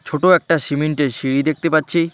ছোট একটা সিমেন্ট -এর সিঁড়ি দেখতে পাচ্ছি।